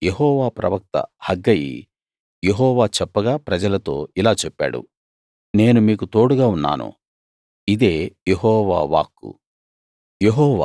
అప్పుడు యెహోవా ప్రవక్త హగ్గయి యెహోవా చెప్పగా ప్రజలతో ఇలా చెప్పాడు నేను మీకు తోడుగా ఉన్నాను ఇదే యెహోవా వాక్కు